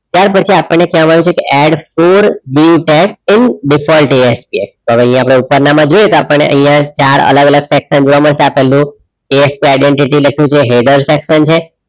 ત્યાર પછી આપણને કહેવામાં આવ્યુ છે કે add for default SPS તો હવે અહીંયા આપણે ઉપરનામાં જોઈએ કે આપણને અહિયાં ચાર અલગ અલગ section જોવા મળશે આ પેલું ASP identity લખ્યું છે header section છે.